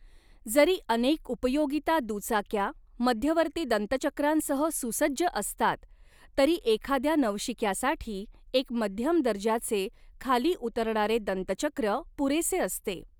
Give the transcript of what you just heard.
जरी अनेक उपयोगिता दुचाक्या मध्यवर्ती दंतचक्रांसह सुसज्ज असतात, तरी एखाद्या नवशिक्यासाठी एक मध्यम दर्जाचे खाली उतरणारे दंतचक्र पुरेसे असते.